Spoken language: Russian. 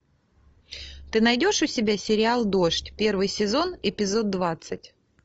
ты найдешь у себя сериал дождь первый сезон эпизод двадцать